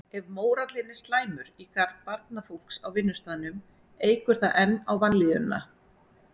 Ef mórallinn er slæmur í garð barnafólks á vinnustaðnum eykur það enn á vanlíðanina.